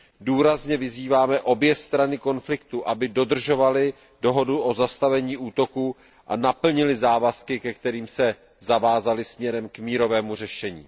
Důrazně vyzýváme obě strany konfliktu, aby dodržovaly dohodu o zastavení útoků a naplnily závazky, ke kterým se zavázaly směrem k mírovému řešení.